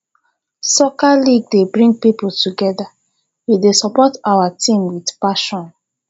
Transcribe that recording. soccer league dey bring people together we go dey support our teams with passion